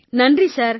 நன்றி சார்